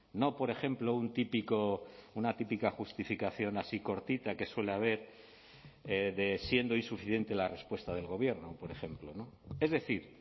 no por ejemplo un típico una típica justificación así cortita que suele haber de siendo insuficiente la respuesta del gobierno por ejemplo es decir